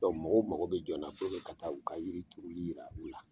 Dɔnku mɔgɔw mago bɛ jɔ n na puruke ka taa u ka yiri turuli yira u la